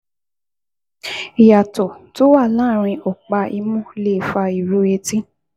Ìyàtọ̀ tó wà láàárín ọ̀pá imú lè fa ìró etí